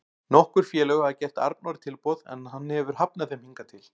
Nokkur félög hafa gert Arnóri tilboð en hann hefur hafnað þeim hingað til.